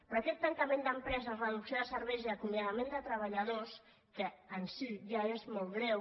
però aquest tancament d’empreses reducció de serveis i acomia·dament de treballadors que en si ja és molt greu